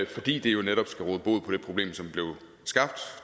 fordi det jo netop skal råde bod på det problem som blev skabt